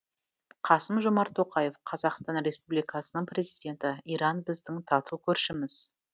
қасым жомарт тоқаев қазақстан республикасының президенті иран біздің тату көршіміз